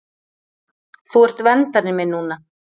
Þú ert verndari minn núna.